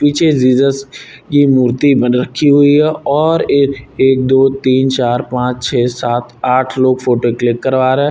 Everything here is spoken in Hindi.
पीछे जीजस की मूर्ति बन रखी हुई है और ये एक दो तीन चार पांच छः सात आठ लोग फोटो क्लिक करवा रहे हैं।